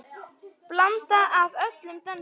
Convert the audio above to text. Blanda af öllum dönsum.